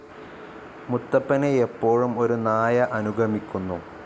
മുത്തപ്പനെ എപ്പോഴും ഒരു നായ അനുഗമിക്കുന്നു.